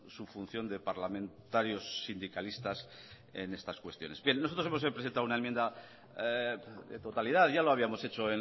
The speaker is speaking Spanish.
su función de parlamentarios sindicalistas en estas cuestiones bien nosotros hemos presentado una enmienda de totalidad ya lo habíamos hecho